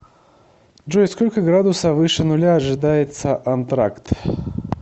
джой сколько градуса выше нуля ожидается антракт